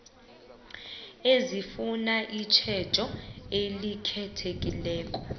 ezifuna itjhejo elikhethekileko